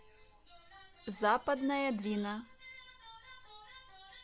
западная двина